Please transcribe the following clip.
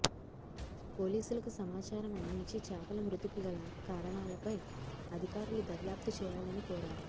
పోలీసులకు సమాచారం అందించి చేపల మృతికి గల కారణాలపై అధికారులు దర్యాప్తు చేయాలనీ కోరారు